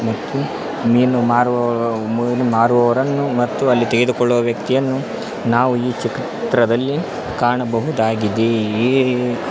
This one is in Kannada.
ಮತ್ತು ಮೀನು ಮಾರುವವ ಮೀನು ಮಾರುವವರನ್ನು ಮತ್ತು ಅಲ್ಲಿ ತೆಗೆದುಕೊಳ್ಳುವ ವ್ಯಕ್ತಿಯನ್ನು ನಾವು ಈ ಚಿತ್ರದಲ್ಲಿ ಕಾಣಬಹುದಾಗಿದೆ ಈ --